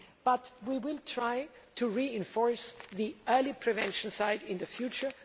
However, we will try to reinforce the early prevention side in the future.